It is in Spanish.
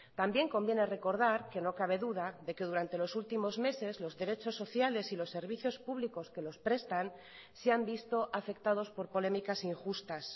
también conviene recordar que no cabe duda de que durante los últimos meses los derechos sociales y los servicios públicos que los prestan se han visto afectados por polémicas injustas